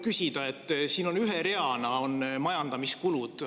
Siin on ühe reana majandamiskulud.